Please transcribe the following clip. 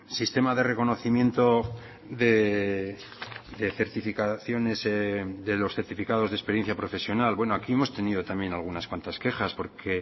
sistema de reconocimiento de certificaciones de los certificados de experiencia profesional bueno aquí hemos tenido también algunas cuantas quejas porque